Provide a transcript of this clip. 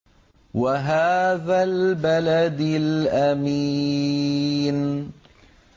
وَهَٰذَا الْبَلَدِ الْأَمِينِ